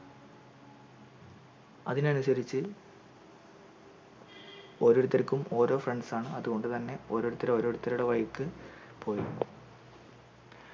അതിനനുസരിച്ചു ഓരോരുത്തർക്കും ഓരോ friends ആണ് അതോണ്ട് തന്നെ ഓരോരുത്തർ ഓരോരുത്തരുടെ വഴിക്കു പോയി